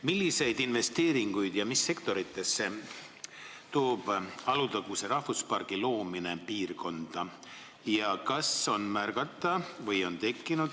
Milliseid investeeringuid ja mis sektoritesse toob Alutaguse rahvuspargi loomine piirkonda?